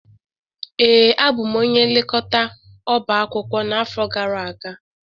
Ee, abụ m onye nlekọta ọbá akwụkwọ n'afọ gara aga